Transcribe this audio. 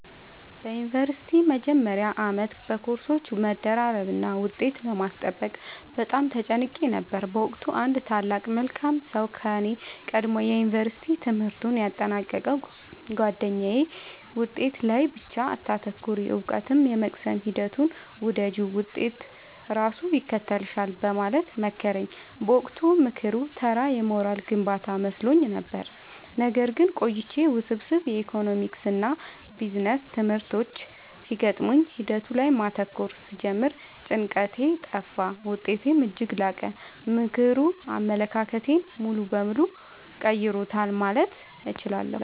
በዩኒቨርሲቲ መጀመሪያ ዓመት በኮርሶች መደራረብና ውጤት ለማስጠበቅ በጣም ተጨንቄ ነበር። በወቅቱ አንድ ታላቅ መልካም ሰው ከኔ ቀድሞ የዩንቨርስቲ ትምህርቱን ያጠናቀቀው ጉአደኛዬ «ውጤት ላይ ብቻ አታተኩሪ: እውቀትን የመቅሰም ሂደቱን ውደጂው፣ ውጤት ራሱ ይከተልሻል» በማለት መከረኝ። በወቅቱ ምክሩ ተራ የሞራል ግንባታ መስሎኝ ነበር። ነገር ግን ቆይቼ ውስብስብ የኢኮኖሚክስና ቢዝነስ ትምህርቶች ሲገጥሙኝ ሂደቱ ላይ ማተኮር ስጀምር ጭንቀቴ ጠፋ: ውጤቴም እጅግ ላቀ። ምክሩ አመለካከቴን ሙሉ በሙሉ ቀይሮታል ማለት እችላለሁ።